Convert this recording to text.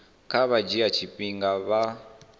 kha vha dzhie tshifhinga vha